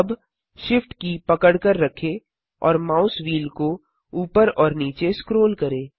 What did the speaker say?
अब SHIFT की पकड़कर रखें और माउल व्हील को ऊपर और नीचे स्क्रोल करें